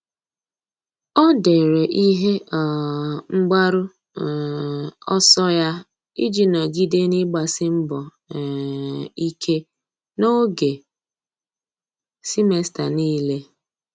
Ọ́ dèrè ihe um mgbaru um ọsọ ya iji nọ́gídé n’ị́gbàsí mbọ um ike n’ógè semester niile.